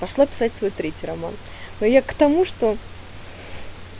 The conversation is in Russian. пошла писать свой третий роман но я к тому что